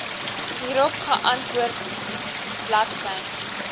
hierop geantwoord bl